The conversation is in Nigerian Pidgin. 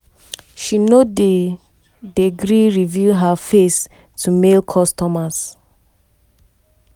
she no dey dey gree reveal her face to male customers.